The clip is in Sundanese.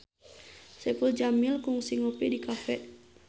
Saipul Jamil kungsi ngopi di cafe